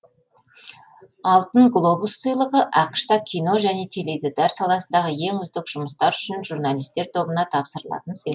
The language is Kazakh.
алтын глобус сыйлығы ақш та кино және теледидар саласындағы ең үздік жұмыстар үшін журналистер тобына тапсырылатын сый